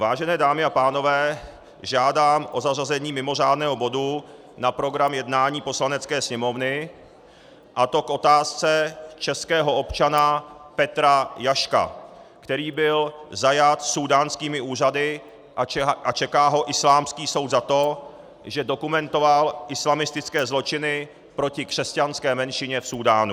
Vážené dámy a pánové, žádám o zařazení mimořádného bodu na program jednání Poslanecké sněmovny, a to k otázce českého občana Petra Jaška, který byl zajat súdánskými úřady a čeká ho islámský soud za to, že dokumentoval islamistické zločiny proti křesťanské menšině v Súdánu.